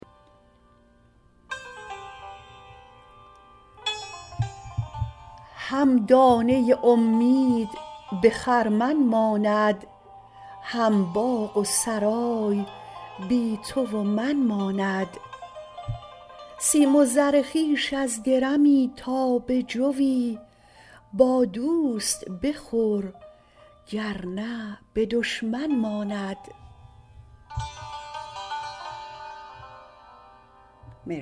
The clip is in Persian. هم دانه امید به خرمن ماند هم باغ و سرای بی تو و من ماند سیم و زر خویش از درمی تا به جوی با دوست بخور گرنه به دشمن ماند